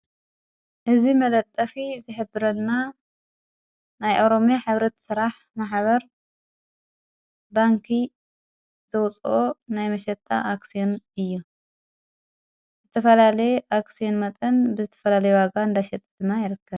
እዙይ መለጠፊ ዚሕብረና ናይ ኤሮሜያ ኅብረት ሥራሕ መሓበር ባንኪ ዘውፅኦ ናይ መሸጣ ኣክስዩን እዩ ዝተፈላለየ ኣክስዮን መጠን ብዝተፈላሌ ዋጋ እንዳሸጠ ድማ ይርከብ